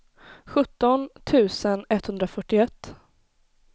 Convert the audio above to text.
sjutton tusen etthundrafyrtioett